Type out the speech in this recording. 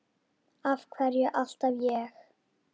Af hverju alltaf ég?